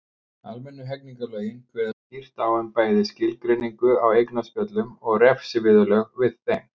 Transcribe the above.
Almennu hegningarlögin kveða skýrt á um bæði skilgreiningu á eignaspjöllum og refsiviðurlög við þeim.